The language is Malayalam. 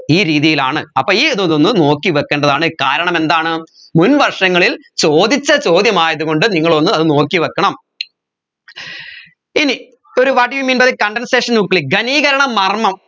ഈ രീതിയിലാണ് അപ്പോ ഈ ഇതൊന്നൊന്ന് നോക്കിവെക്കേണ്ടതാണ് കാരണമെന്താണ് മുൻവർഷങ്ങളിൽ ചോദിച്ച ചോദ്യമായത് കൊണ്ട് നിങ്ങൾ ഒന്ന് അത് നോക്കിവെക്കണം ഇനി ഒരു what you mean by condensation nuclei ഖനികരണ മർമ്മം